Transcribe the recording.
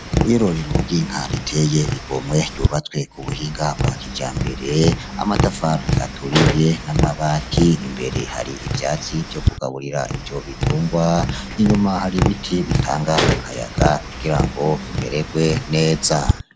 Iyororero ry'inka riteye igomwe ryubatswe ku buhinga bwa kijambere, amatafari aturiye n'amabati. Imbere hari ivyatsi vyo kugaburira ivyo bitungwa, inyuma hari ibiti bitanga akayaga kugira bimererwe neza.